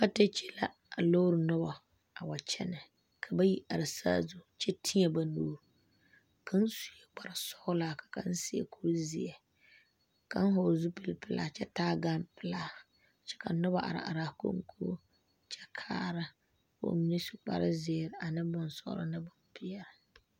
Atɛɛkyi la a loor noba a wa kyɛne, ka bayi are saazu kyɛ teɛ ba nuuri kaŋ sue kpar sɔglaa ka kaŋ. seɛ kur zeɛ , kaŋ vɔgeli zupili pelaa kyɛ taa gan pelaa kyɛ ka noba are are a konkobo kyɛ kaara kɔɔ mine su kpar zeɛre ane bonsɔglɔ ane bon pɛɛle.